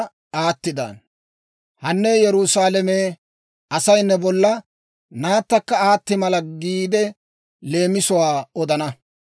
«‹ «Hane Yerusaalame, Asay ne bolla, Naattakka aatti mala giide leemisuwaa odana.